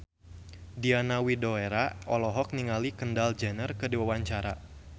Diana Widoera olohok ningali Kendall Jenner keur diwawancara